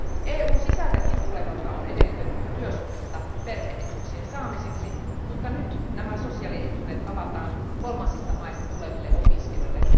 EUn sisältäkin tulevalta on edellytetty työsuhdetta perhe etuuksien saamiseksi, mutta nyt nämä sosiaalietuudet avataan kolmansista maista tuleville opiskelijoille.